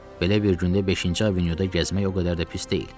Belə bir gündə beşinci avenyuda gəzmək o qədər də pis deyil.